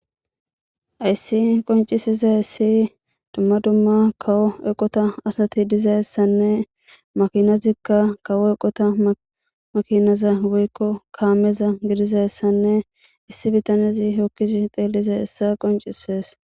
ayssi qoncisiza issi dumma dumma kawo eqota asati dizayssanne makinazikka kawo eqota makinaza woykko kaameza gidizayssanne issi bitanezi hokkisi xeeliza essa qoncisees.